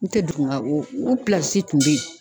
N tɛ dugu nga u tun be yen.